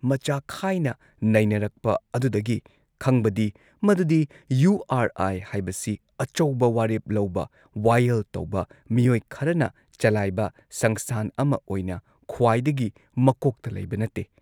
ꯃꯆꯥ ꯈꯥꯏꯅ ꯅꯩꯅꯔꯛꯄ ꯑꯗꯨꯗꯒꯤ ꯈꯪꯕꯗꯤ ꯃꯗꯨꯗꯤ ꯌꯨ ꯑꯥꯔ ꯑꯥꯏ ꯍꯥꯏꯕꯁꯤ ꯑꯆꯧꯕ ꯋꯥꯔꯦꯞ ꯂꯧꯕ, ꯋꯥꯌꯦꯜ ꯇꯧꯕ ꯃꯤꯑꯣꯏ ꯈꯔꯅ ꯆꯂꯥꯏꯕ ꯁꯪꯁꯊꯥꯟ ꯑꯃ ꯑꯣꯏꯅ ꯈ꯭ꯋꯥꯏꯗꯒꯤ ꯃꯀꯣꯛꯇ ꯂꯩꯕ ꯅꯠꯇꯦ ꯫